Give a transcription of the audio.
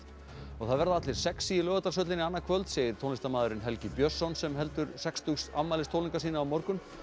það verða allir sexí í Laugardalshöllinni annað kvöld segir tónlistarmaðurinn Helgi Björnsson sem heldur sextugs afmælistónleika sína á morgun